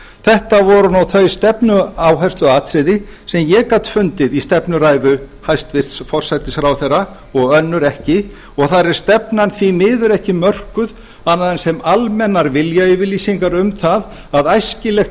þetta voru þau stefnuáhersluatriði sem ég gat fundið í stefnuræðu hæstvirts forsætisráðherra og önnur ekki og þar er stefnan því miður ekki mörkuð annað en sem almennar viljayfirlýsingar um það að æskilegt sé